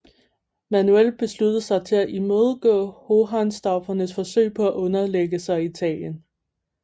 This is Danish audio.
Manuel besluttede sig til at imødegå hohenstaufernes forsøg på at underlægge sig Italien